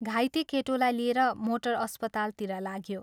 घाइते केटोलाई लिएर मोटर अस्पतालतिर लाग्यो।